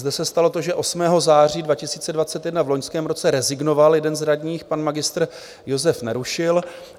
Zde se stalo to, že 8. září 2021 v loňském roce rezignoval jeden z radních, pan Mgr. Josef Nerušil.